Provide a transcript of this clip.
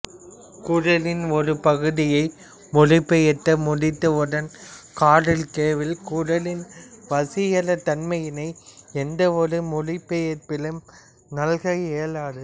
குறளின் ஒரு பகுதியை மொழிபொயர்த்து முடித்தவுடன் கார்ல் கிரவுல் குறளின் வசீகரத் தன்மையினை எந்த ஒரு மொழிபெயர்ப்பாலும் நல்க இயலாது